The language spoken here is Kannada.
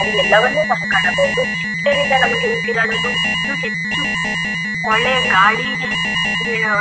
ಅಲ್ಲಿ ಎಲ್ಲವನ್ನು ಸಹ ಕಾಣಬಹುದು ಇದರಿಂದ ನಮಗೆ ಉಸಿರಾಡಲು ಇನ್ನು ಹೆಚ್ಚು ಒಳ್ಳೆಯ ಗಾಳಿ ಹ್ಮ್ --